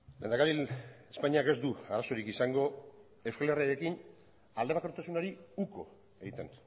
lehendakari espainiak ez du arazorik izango euskal herriarekin aldebakartasunari uko egiten